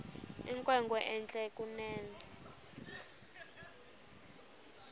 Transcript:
inkwenkwe entle kunene